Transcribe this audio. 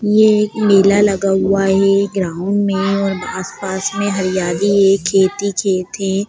ये एक मेला लगा हुआ है ग्राउंड में और आस-पास में हरियाली है खेत ही खेत है ।